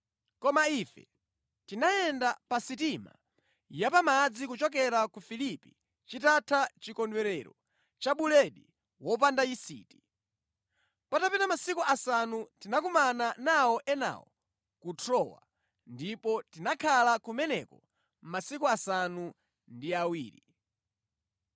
Koma ife tinayenda pa sitima ya pamadzi kuchokera ku Filipi chitatha Chikondwerero cha Buledi wopanda Yisiti. Patapita masiku asanu tinakumana nawo enawo ku Trowa, ndipo tinakhala kumeneko masiku asanu ndi awiri.